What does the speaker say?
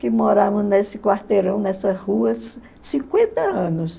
que moravam nesse quarteirão, nessas ruas, cinquenta anos.